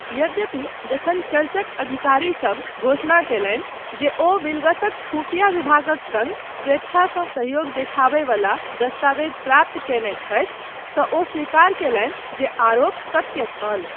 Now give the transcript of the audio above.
यद्यपि, जखन चर्चक अधिकारिसब घोषणा कयलनि जे ओ विलगसक खुफ़िया विभागक सङ्ग स्वेच्छासँ सहयोग देखाबय वला दस्तावेज प्राप्त कयने छथि, तँ ओ स्वीकार कयलनि जे आरोप सत्य छल।